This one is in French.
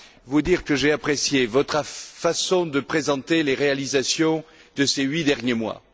vous dire que j'ai apprécié votre façon de présenter les réalisations de ces huit derniers mois.